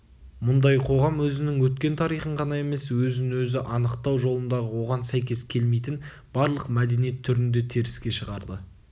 мұндай қоғам өзінің өткен тарихын ғана емес өзін-өзі анықтау жолындағы оған сәйкес келмейтін барлық мәдениет түрін де теріске шығарды